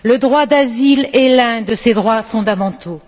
Le droit d'asile est l'un de ces droits fondamentaux.